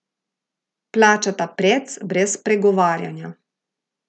Plačata prec, brez pregovarjanja.